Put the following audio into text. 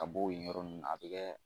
Ka b'o yen yɔrɔ ninnu ma a bɛ kɛ